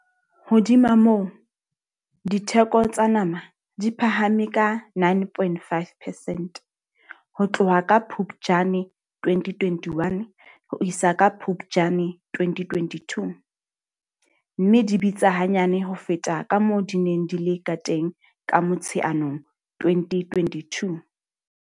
Hodima moo, ditheko tsa nama di phahame ka 9.5 percent ho tloha ka Phuptjane 2021 ho isa ka Phuptjane 2022, mme di bitsa hanyane ho feta kamoo di neng di le kateng ka Motsheanong 2022.